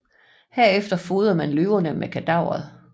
Herefter fodrede man løverne med kadaveret